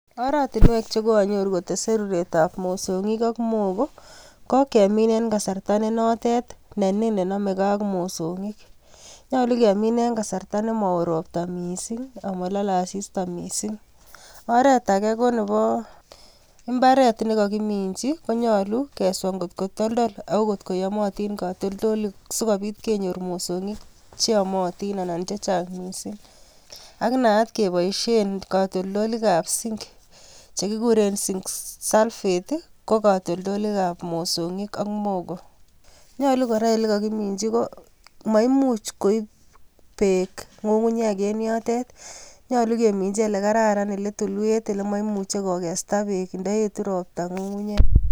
Oretinwek chekanyoru koteseu ruretab minutik moso g'ik ak mwogo ko kemin eng kasarta ne notet, ne nin nenamegei ak mosong'ik. Nyolu kemin eng kasarta ne mao ropta mising ama lalei asista mising. Oret age ko nebo imbaret nekakiminchi konyolu keswe kotko tos toltol ak kotko nyomatin katoltolik sikobit kenyor mosong'ik cheamotin anan chechang. Ak naat keboishe katoltolik ab zinc chekiguren zinc sulphat ko katoltolik ab mosong'ik ak mwogo. Nyolu kora ole kakiminchi ko maimuch koip kek ng'ung'unyek en yotet. Yolu keminji ole kararan. Ole tulwet ole moimuche kokesta bek ndaetu ropta eng ng'ung'unyek.